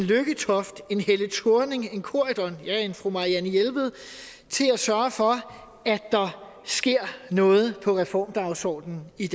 en lykketoft en helle thorning schmidt en corydon ja en fru marianne jelved til at sørge for at der sker noget på reformdagsordenen i